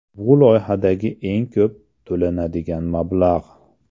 Bu loyihadagi eng ko‘p to‘lanadigan mablag‘.